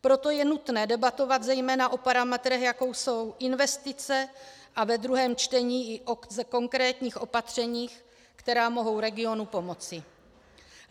Proto je nutné debatovat zejména o parametrech, jako jsou investice, a ve druhém čtení i o konkrétních opatřeních, která mohou regionu pomoci.